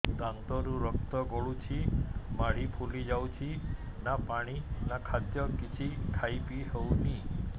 ଦାନ୍ତ ରୁ ରକ୍ତ ଗଳୁଛି ମାଢି ଫୁଲି ଯାଉଛି ନା ପାଣି ନା ଖାଦ୍ୟ କିଛି ଖାଇ ପିଇ ହେଉନି